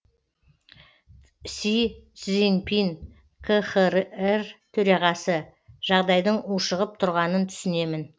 си цзиньпин қхр төрағасы жағдайдың ушығып тұрғанын түсінемін